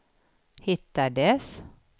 hittades